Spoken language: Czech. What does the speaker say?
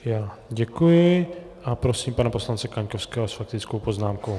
Já děkuji a prosím pana poslance Kaňkovského s faktickou poznámkou.